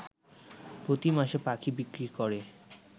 প্রতিমাসে পাখি বিক্রি করে